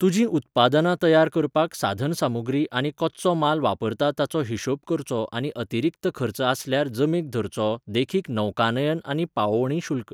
तुजीं उत्पादनां तयार करपाक साधनसामुग्री आनी कच्चो माल वापरता ताचो हिशेब करचो आनी अतिरिक्त खर्च आसल्यार जमेक धरचो, देखीक नौकानयन आनी पावोवणी शुल्क.